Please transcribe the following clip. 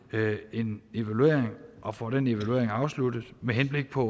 en evaluering og får den evaluering afsluttet med henblik på